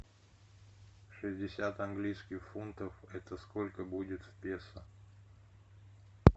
шестьдесят английских фунтов это сколько будет в песо